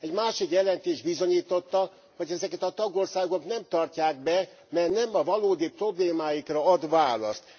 Egy másik jelentés bizonyította, hogy ezeket a tagországok nem tartják be, mert nem a valódi problémáikra ad választ.